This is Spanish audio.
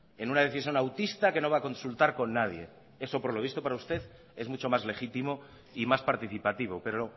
en una decisión autista que no va a consultar con nadie que eso por lo visto para usted es mucho más legítimo y más participativo pero